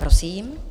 Prosím.